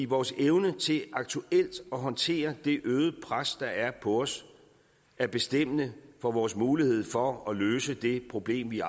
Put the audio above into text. vores evne til aktuelt at håndtere det øgede pres der er på os er bestemmende for vores mulighed for at løse det problem vi